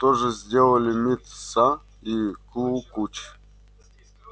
то же сделалали мит са и клу куч